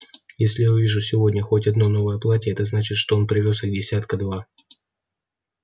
если я увижу сегодня хоть одно новое платье это значит что он привёз их десятка два